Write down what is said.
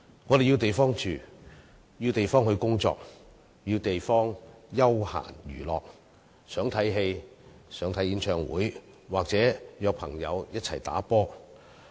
我們需要地方居住、需要地方工作、需要地方作休閒娛樂：想看戲、看演唱會或約朋友一起打球。